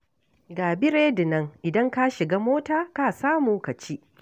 Ga biredi nan, idan ka shiga mota ka samu ka ci